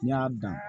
N'i y'a dan